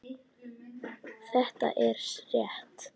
Þetta er rétt.